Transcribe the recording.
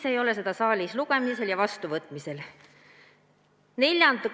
Miks ei ole see saalis lugemisel ja vastuvõtmisel?